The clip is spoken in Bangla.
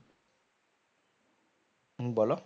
হম বলো